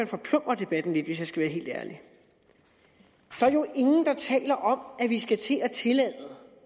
forplumrer debatten lidt hvis jeg skal være helt ærlig der er jo ingen der taler om at vi skal til at tillade